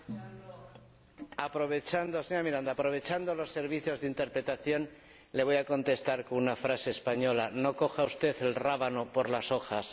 Señora Miranda, aprovechando los servicios de interpretación le voy a contestar con una frase española no coja usted el rábano por las hojas.